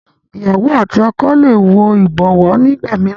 ìyàwó àti ọkọ lẹ wò ibọwọ nigbamiran